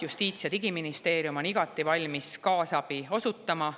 Justiits- ja Digiministeerium on igati valmis kaasabi osutama.